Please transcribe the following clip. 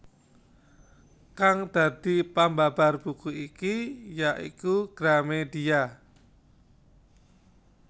Kang dadi pambabar buku iki ya iku Gramedia